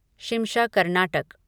Shimsha Karnataka